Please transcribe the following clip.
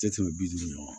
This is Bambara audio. Tɛ tɛmɛ bi duuru ɲɔgɔn